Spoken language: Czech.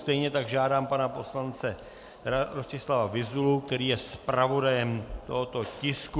Stejně tak žádám pana poslance Rostislava Vyzulu, který je zpravodajem tohoto tisku.